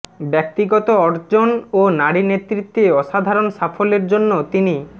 ব্যক্তিগত অর্জন ও নারী নেতৃত্বে অসাধারণ সাফল্যের জন্য তিনি